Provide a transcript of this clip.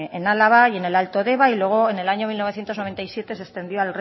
en álava y en el alto deba y luego en el año mil novecientos noventa y siete se extendió